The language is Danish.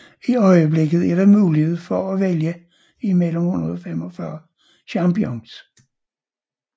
I øjeblikket er der mulighed for at vælge imellem 145 champions